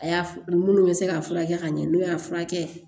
A y'a f minnu bɛ se k'a furakɛ ka ɲɛ n'o y'a furakɛ